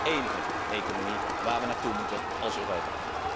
En dat is ook de enige economie waar we naartoe moeten als Europa.